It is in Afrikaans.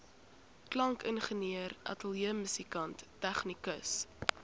klankingenieur ateljeemusikant tegnikus